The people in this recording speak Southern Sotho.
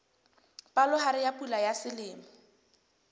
palohare ya pula ya selemo